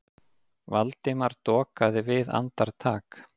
Valdimar dokaði við andartak.